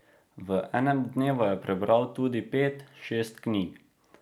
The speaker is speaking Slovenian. V enem dnevu je prebral tudi pet, šest knjig.